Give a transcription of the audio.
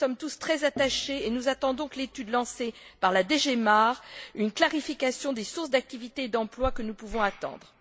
Nous y sommes tous très attachés et nous attendons de l'étude lancée par la DG MARE, une clarification des sources d'activité et d'emploi que nous pouvons attendre.